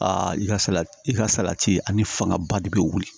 i ka salati i ka salati ani fangaba de bɛ wuli